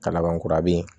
Ka laban kura bin